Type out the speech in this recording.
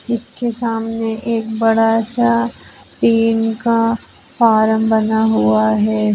इसके सामने एक बड़ा सा टीन का फार्म बना हुआ है।